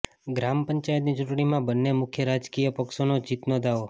ગ્રામ પંચાયતની ચૂંટણીમાં બંને મુખ્ય રાજકિય પક્ષોનો જીતનો દાવો